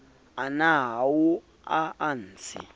ana ao a a entseng